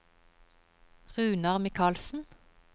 Runar Michaelsen